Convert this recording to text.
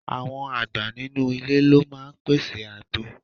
Àwọn àgbà nínú ilé ló máa ń pèsè àgbo.